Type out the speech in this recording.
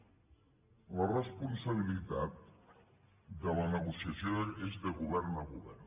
la responsabilitat de la negociació és de govern a govern